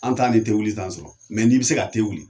An t'a ni wili sɔrɔ n'i bi se ka wuli